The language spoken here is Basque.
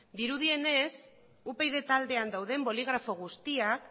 dirudienez upyd taldean dauden boligrafo guztiak